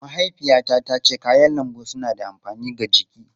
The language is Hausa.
Mahaifiyata tace kayan lambu suna da amfani ga jiki.